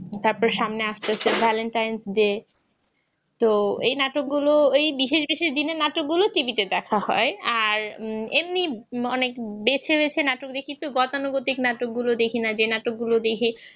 তারপর সামনে আসতেছে valentines day তো এই নাটকগুলো এই বিশেষ বিশেষ দিনে নাটকগুলো TV তে দেখা হয় আর উম এমনি অনেক বেছে বেছে নাটক দেখি তো গতানুগতিক নাটকগুলো দেখিনা যে নাটকগুলো দেখি